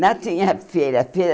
Não tinha feira.